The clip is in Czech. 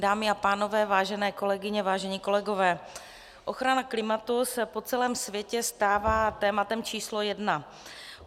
Dámy a pánové, vážené kolegyně, vážení kolegové, ochrana klimatu se po celém světě stává tématem číslo jedna.